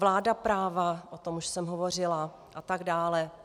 Vláda práva - o tom už jsem hovořila - a tak dále.